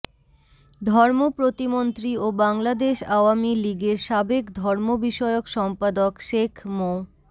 ধর্ম প্রতিমন্ত্রী ও বাংলাদেশ আওয়ামী লীগের সাবেক ধর্ম বিষয়ক সম্পাদক শেখ মো